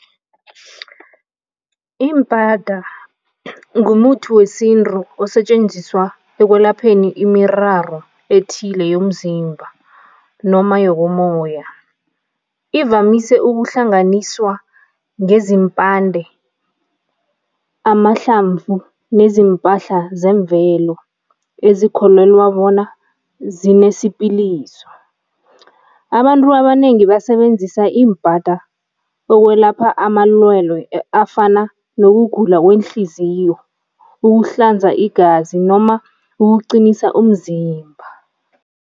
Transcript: Imbada ngumuthi wesintu osetjenziswa ekwelapheni imiraro ethile yomzimba noma yokomoya. Ivamise ukuhlanganiswa ngezimpande, amahlamvu nezimpahla zemvelo ezikholelwa bona zinesipiliso. Abantu abanengi basebenzisa imbada ukwelapha amalwelwe afana nokugula kweenhliziyo, ukuhlanza igazi noma ukuqinisa umzimba.